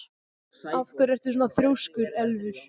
Af hverju ertu svona þrjóskur, Elfur?